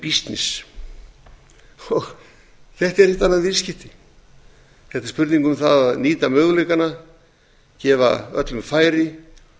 þetta eru ekkert annað en viðskipti þetta er spurning um að nýta möguleikana gefa öllum færi